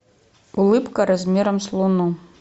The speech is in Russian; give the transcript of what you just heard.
улыбка размером с луну